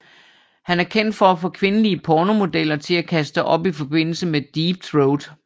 Han er kendt for at få kvindelige pornomodeller til at kaste op i forbindelse med deep throat